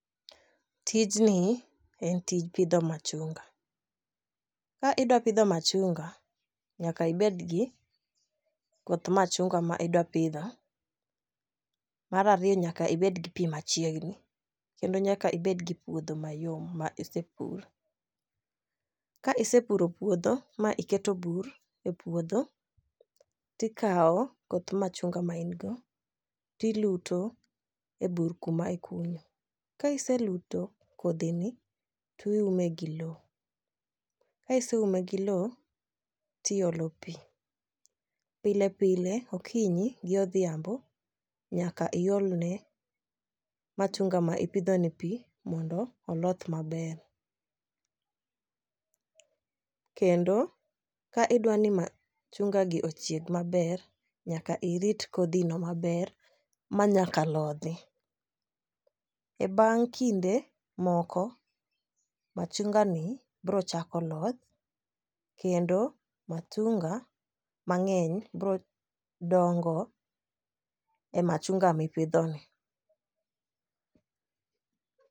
Tijni en tij pidho machunga ka idwa pidho machunga, nyaka ibed gi koth machunga ma idwa pidho. Mar ariyo nyaka ibed gi pii machiegni kendo nyaka ibed gi puodho mayom ma isepur. Ka isepuro puodho maiketo bur e puodho, tikawo koth machunga ma in go tiluto e bur kuma ikunyo .Ka iseluto kodhi ni tiume gi lowo. kiseume gi loo tiolo pii pile pile okinyi g odhiambo nyaka iol ne machunga ma ipidho ni pii mondo oloth maber kendo ka idwani ma chunga gi ochieg maber nyaka irit kodhi no maber ma nyaka lodhi. E bang' kinde moko, machunga ni bro chako loth kendo machunga mang'eny bro dongo e machung'a mipidho ni.